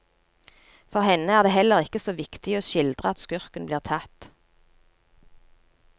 For henne er det heller ikke så viktig å skildre at skurken blir tatt.